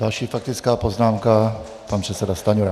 Další faktická poznámka, pan předseda Stanjura.